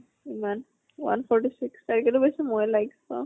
ইমান one forty six তাই কেইটা পাইছে মই like চাওঁ।